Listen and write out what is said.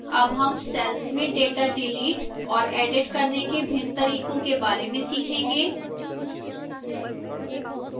अब हम cells में data डिलीट और edit करने के भिन्न तरीकों के बारे में सीखेंगे